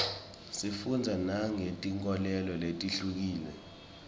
sifundza nangetinkholelo letihlukile